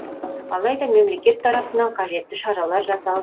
алайда мемлекет тарапынан қажетті шаралар жасалып